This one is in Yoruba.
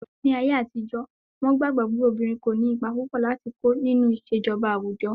Ní ayé àtijó, wọ́n gbàgbọ́ pé obìnrin kò ní ipa púpò láti kó nínú ìṣèjọba àwùjọ.